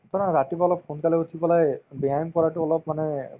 ধৰা ৰাতিপুৱা অলপ সোনকালে উঠি পেলাই ব্যায়াম কৰাতো অলপ মানে